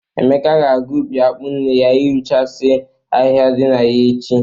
Emeka ga-aga ubi akpụ nne ya irụchasị ahịhịa dị na ya echi.